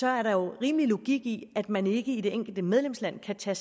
er der jo rimelig logik i at man ikke i det enkelte medlemsland kan tage